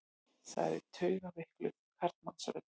sagði taugaveikluð karlmannsrödd.